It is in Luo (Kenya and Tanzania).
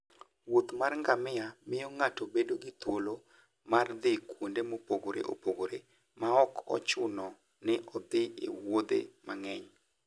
wuoth mar ngamia miyo ng'ato bedo gi thuolo mar dhi kuonde mopogore opogore maok ochuno ni odhi e wuodhe mang'eny.